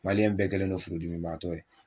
Maliyɛn bɛɛ kɛlen don furudimibaatɔ ye